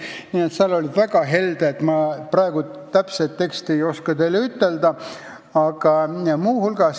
Nii määrati väga helded sotsiaalsed garantiid.